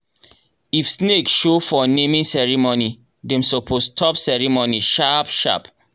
if snake show for naming ceremony dem suppose stop ceremony sharp sharp.